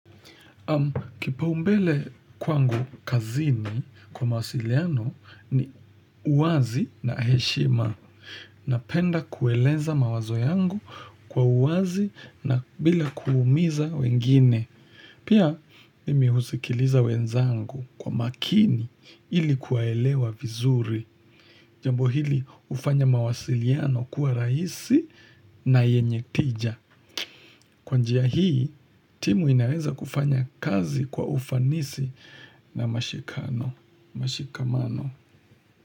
Kipaumbele kwangu kazini kwa mawasiliano ni uwazi na heshima. Napenda kueleza mawazo yangu kwa uwazi na bila kuumiza wengine. Pia nimeusikiliza wenzangu kwa makini ili kuwaelewa vizuri. Jambo hili hufanya mawasiliano kuwa rahisi na yenye tija. Kwa njia hii, timu inaweza kufanya kazi kwa ufanisi na mashikano, mashikamano.